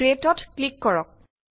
ক্ৰিয়েটত click কৰক